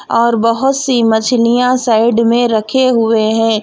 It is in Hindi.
और बहोत सी मछलियां साइड में रखे हुए हैं।